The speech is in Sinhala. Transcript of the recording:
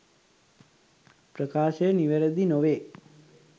ප්‍රකාශය නිවැරදි නොවේ